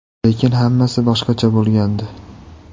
Lekin hammasi boshqacha bo‘lgandi.